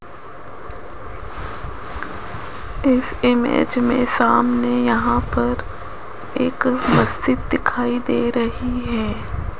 इस इमेज मे सामने यहां पर एक मस्जिद दिखाई दे रही है।